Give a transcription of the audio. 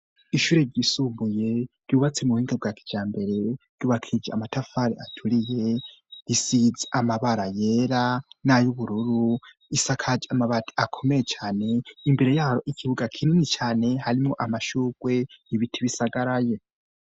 Ishure ry'isumuye ryubatsi mu buhinga bwa kijambere ry'ubakije amatafari aturiye risidz amabara yera n'ay'ubururu isakag amabati akomeye cyane imbere yaro ikibuga kinini cyane harimo amashugwe ibiti bisagaraye.